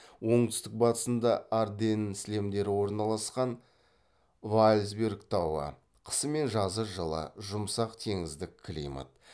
оңтүстік батысында арденн сілемдері орналасқан ваалсберг тауы қысы мен жазы жылы жұмсақ теңіздік климат